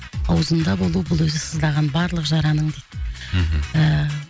аузында болу бұл өзі сыздаған барлық жараның дейді мхм ыыы